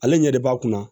Ale ɲɛ de b'a kunna